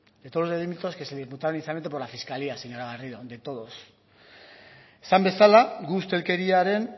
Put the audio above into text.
de todos los delitos que se le imputaron inicialmente por la fiscalía señora garrido de todos esan bezala gu ustelkeriaren